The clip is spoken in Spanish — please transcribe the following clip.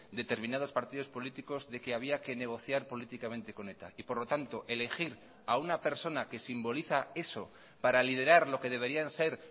determinados partidos políticos de que había que negociar políticamente con eta y por lo tanto elegir a una persona que simboliza eso para liderar lo que deberían ser